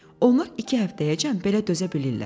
Onlar iki həftəyəcən belə dözə bilirlər.